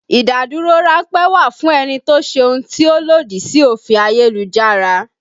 Ìdádúró ránpẹ́ wà fún ẹni tó ṣe ohun tí ó lòdì sí òfin ayélujára